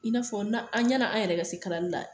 I n'a fɔ na ɲɛna an yɛrɛ ka se kalali la